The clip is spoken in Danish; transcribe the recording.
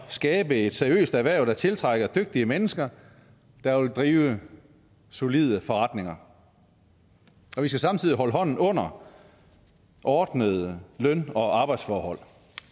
skabe et seriøst erhverv der tiltrækker dygtige mennesker der vil drive solide forretninger og vi skal samtidig holde hånden under ordnede løn og arbejdsforhold